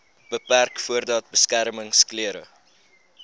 beperk voordat beskermingsklere